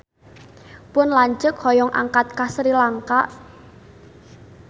Pun lanceuk hoyong angkat ka Sri Lanka